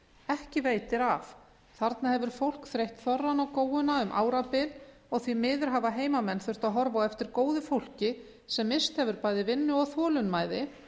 ekki veitir af þarna hefur fólk þreyjað þorrann og góuna um árabil og því miður hafa heimamenn þurft að horfa á eftir góðu fólki sem misst hefur bæði vinnu og þolinmæði